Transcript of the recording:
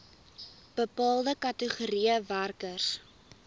bepaalde kategorieë werkers